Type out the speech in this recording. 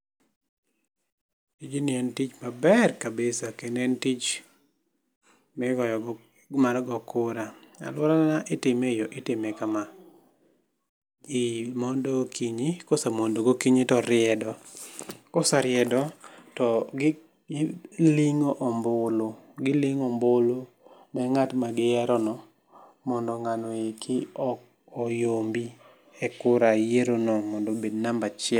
Tijni en tich maber kabisa kendo tich mi mar goyo kura aluora na itime kama, ji mondo okinyi ka osemondo gokinyi to riedo ka oseriedo to gi ling'o ombulu gi ling'o ombulu ne ng'at ma gi yiero no mondo ng'ano oiki oyombe e kura yiero no mondo obed namba achiel.